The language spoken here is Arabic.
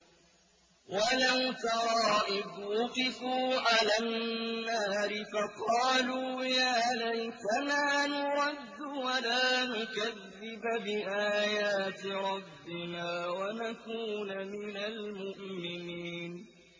وَلَوْ تَرَىٰ إِذْ وُقِفُوا عَلَى النَّارِ فَقَالُوا يَا لَيْتَنَا نُرَدُّ وَلَا نُكَذِّبَ بِآيَاتِ رَبِّنَا وَنَكُونَ مِنَ الْمُؤْمِنِينَ